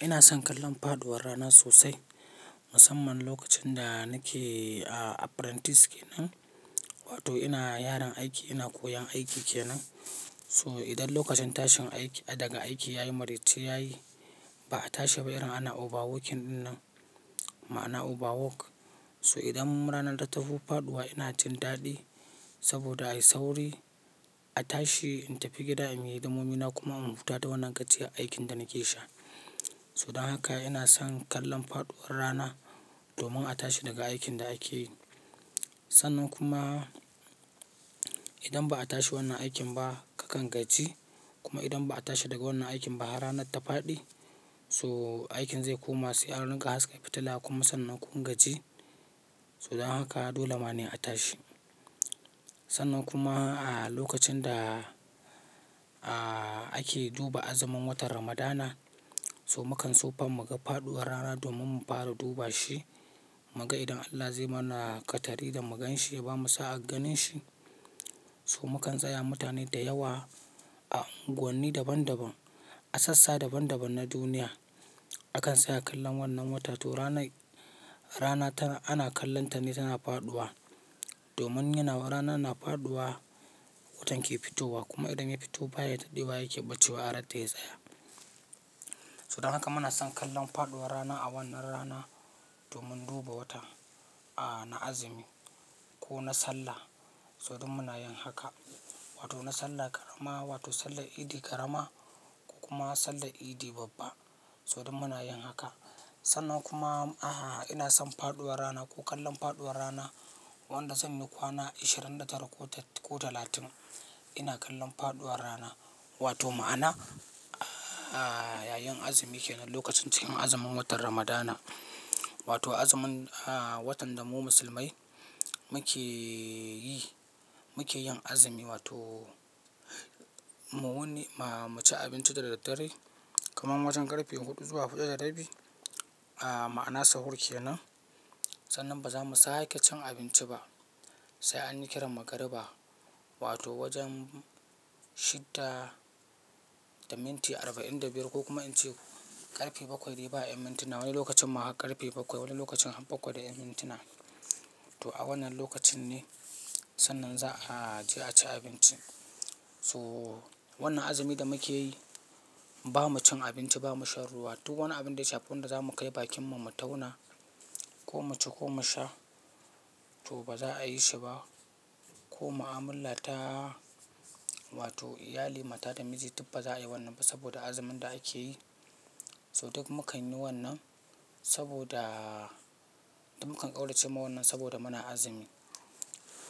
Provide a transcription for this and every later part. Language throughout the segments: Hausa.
Ina son kallon faɗuwar rana sosai, musamman lokacin da nake apprentice kenan, wato ina yaron aiki, ina koyan aiki kenan. So idan lokacin tashin daga aiki yayi, mariya ce yayi, ba a tashi ba yaron ana overworking ɗinnan, ma'ana overwork. So idan rana ta tawo faɗuwa ina jin daɗi saboda ayi sauri a tashi in tafi gida in yi damomina kuma in hutata wannan gajiyar aikin da nake sha. So don haka ina son kallon faɗuwar rana domin a tashi daga aikin da ake yi. Sannan kuma idan ba a tashi wannan aikin ba kakan gajji, kuma idan ba a tashi daga wannan aikin ba har rana ta faɗi so aikin zai koma si'arinka har su kai fitila kuma sannan kun gajji. So don haka dole ma ne a tashi. Sannan kuma a lokacin da ake duba azumin watan Ramadana, so mu kan sofa mu ga faɗuwar rana domin mu fara duba shi mu ga idan Allah zai mana ƙatari da mu gan shi ya bamu sa'a ganin shi. So mu kan tsaya mutane da yawa a unguwanni daban daban, a sassa daban daban na duniya. Akan tsaya kallon wannan wata to rana ana kallonta ne tana faɗuwa domin yana wa rana na faɗuwa watan ke fitowa kuma idan ya fito baya taɗi baya yake ɓacewa har ta yi tsaya. So don haka muna son kallon faɗuwar rana a wannan rana domin duba wata a na azumi ko na sallah. So duk muna yin haka wato na sallar ƙarama wato sallar idi ƙarama kuma sallar idi babba. So duk muna yin haka. Sannan kuma ina son faɗuwar rana ko kallon faɗuwar rana wanda zan yi kwana ashirin da tara ko talatin. Ina kallon faɗuwar rana wato ma'ana yayin azumi kenan lokacin cikin azumin watan Ramadana wato azumin watan da mu musulmai muke yi, muke yin azumi wato mu wani mu ci abinci da daddare. Kuma wajen ƙarfe huɗu zuwa huɗu da rabi ma'ana sahur kenan. Sannan ba za mu sa'a ke cin abinci ba sai an kira magriba wato wajen shidda da minti arba'in da biyar ko kuma inci ƙarfe bakwai raba mintina. Wani lokacin ma ƙarfe bakwai wani lokacin bakwai da mintina. To a wannan lokacin ne sannan za a je a ci abinci. So wannan azumi da muke yi ba mu cin abinci ba, mu sha ruwa duk wani abin da ya shafi wanda za mu kai bakin mu mu tauna ko mu ci ko mu sha to ba za a yi shi ba. Ko ma'amula ta wato iyali mata da miji duka ba za a yi wannan ba saboda azumin da ake yi. So duk muka yi wannan saboda duk muka ƙaunace ma wannan saboda muna azumi.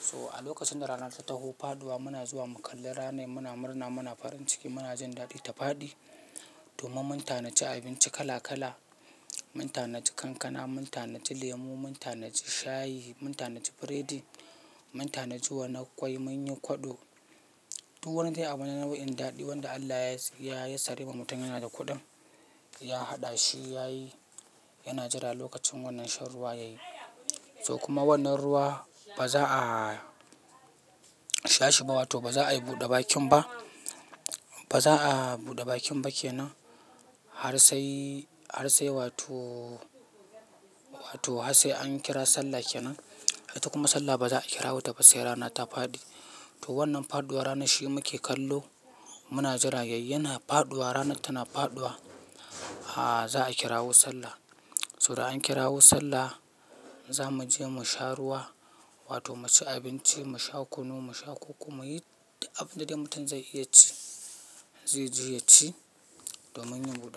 So a lokacin da rana ta tafi faɗuwa muna zuwa mu kalli rana, muna murna, muna farin ciki, muna jin daɗi ta faɗi domin mun ta na ji abinci kala kala, mun ta na ji kankana, mun ta na ji lemu, mun ta na ji shayi, mun ta na ci biredi, mun ta na ji wannan kwai, mun yi kwaɗo. Duk wani abu yana da wani nau'in daɗi wanda Allah ya yasarwa mutum yana da kuɗin ya haɗa shi yayi yana jira lokacin wannan shan ruwa yayi. To kuma wannan ruwa ba za a sha shi ba wato ba za a yi buɗe bakin ba. Ba za a buɗe bakin ba kenan har sai, har sai wato, wato har sai an kira sallah kenan. Ita kuma sallah ba za a kira wuta ba sai rana ta faɗi. To wannan faɗuwar rana shi muke kallo muna jira yayin na faɗuwa rana tana faɗuwa, za a kirawo sallah. So da an kirawo sallah za mu je mu sha ruwa wato mu ci abinci, mu sha kunu, mu sha koko, mu yi abin da dai mutum zai iya ci zai je ya ci domin yin buɗawa.